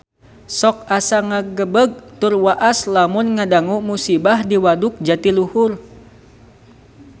Sok asa ngagebeg tur waas lamun ngadangu musibah di Waduk Jatiluhur